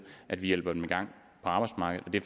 at vi hjælper dem i gang på arbejdsmarkedet og det